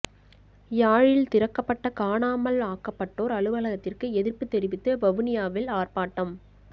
யாழில் திறக்கப்பட்ட காணாமல் ஆக்கப்பட்டோர் அலுவலகத்திற்கு எதிர்ப்புத் தெரிவித்து வவுனியாவில் ஆர்ப்பாட்டம்